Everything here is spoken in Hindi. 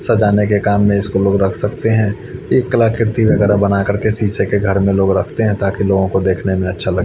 सजानेके काम में इसको लोग रख सकते है एक कलाकृति वगैरा बना कर के सीसे के घर में लोग रखते है ताकि लोगोंको देखने में अच्छा --